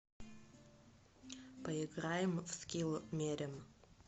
поиграем в скилл мерем